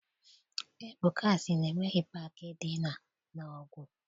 Ebuka sị na enweghị paakị dị na Nọọgụ.